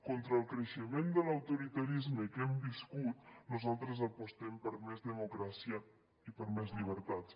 contra el creixement de l’autoritarisme que hem viscut nosaltres apostem per més democràcia i per més llibertats